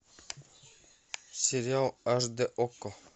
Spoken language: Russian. сериал аш дэ окко